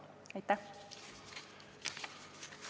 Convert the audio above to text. Aitäh!